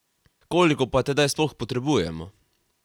Koliko pa je tedaj sploh potrebujemo?